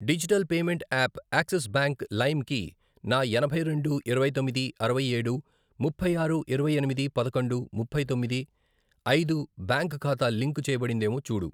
Digital payment app Axis bank లైమ్ కి నా ఎనభై రెండు, ఇరవై తొమ్మిది, అరవై ఏడు, ముప్పై ఆరు, ఇరవై ఎనిమిది, పదకొండు, ముప్పై తమ్మిడి, ఐదు, బ్యాంక్ ఖాతా లింకు చేయబడిందేమో చూడు.